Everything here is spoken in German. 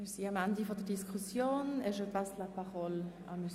Wir sind am Ende der Diskussion angelangt.